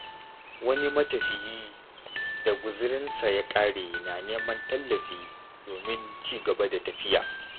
Wani matafiyi da guziransa ya ƙare na neman tallafi domin ci gaba da tafiya.